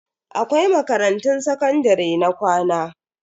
Akwai makarantun sakandare na kwana.